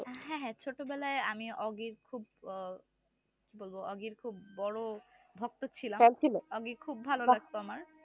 হ্যা হ্যা ছোটো বেলায় আমি ওগির খুব আহ কি বলবো ওগির খুব বড় ভক্ত ছিলাম ওগি খুব ভালো লাগতো আমার